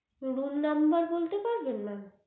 room number পারবেন mam